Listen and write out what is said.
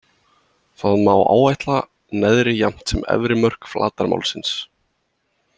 Þá má áætla neðri jafnt sem efri mörk flatarmálsins.